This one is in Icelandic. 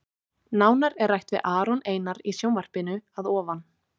Nánar er rætt við Aron Einar í sjónvarpinu að ofan.